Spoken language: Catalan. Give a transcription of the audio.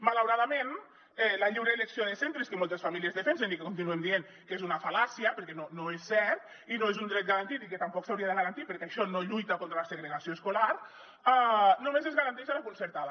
malauradament la lliure elecció de centres que moltes famílies defensen i que continuem dient que és una fal·làcia perquè no és certa i no és un dret garantit i que tampoc s’hauria de garantir perquè això no lluita contra la segregació escolar només es garanteix a la concertada